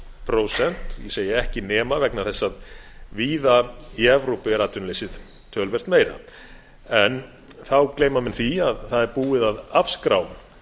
prósent ég segi ekki nema vegna þess að víða í evrópu er atvinnuleysið töluvert meira en þá gleyma menn því að það er búið að afskrá